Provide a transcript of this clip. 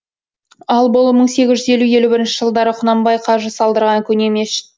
ал бұл мың сегіз жүз елу елу бірінші жылдары құнанбай қажы салдырған көне мешіт